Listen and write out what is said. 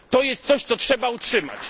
lat. To jest coś, co trzeba utrzymać.